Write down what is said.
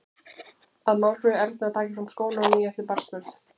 Að Málfríður Erna taki fram skóna á ný eftir barnsburð.